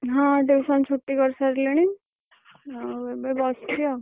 ହଁ tuition ଛୁଟି କରିସାରିଲେଣି। ଆଉ ଏବେ ବସିଛି ଆଉ।